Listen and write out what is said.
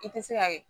I tɛ se ka kɛ